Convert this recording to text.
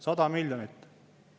100 miljonit!